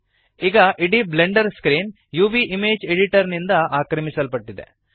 ಈಗ ಇಡೀ Blender screen UV image editor ನಿಂದ ಆಕ್ರಮಿಸಲ್ಪಟ್ಟಿದೆ